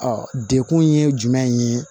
Ɔ dekun ye jumɛn ye